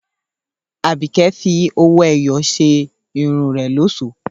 Àbíkẹ́ fi owó-ẹyọ ṣe irun rẹ̀ lọ́ṣọ̀ọ́